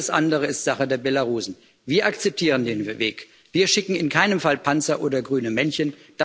Alles andere ist Sache der Belarussen. Wir akzeptieren den Weg, wir schicken in keinem Fall Panzer oder grüne Männchen.